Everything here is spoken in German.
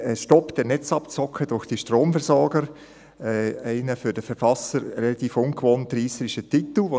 «Stopp der Netzabzocke durch die Stromversorger», ein für die Verfasser eigentlich ungewohnt reisserischer Titel.